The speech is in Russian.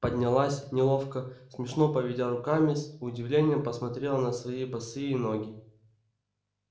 поднялась неловко смешно поведя руками с удивлением посмотрела на свои босые ноги